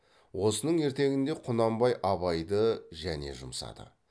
осының ертеңінде құнанбай абайды және жұмсады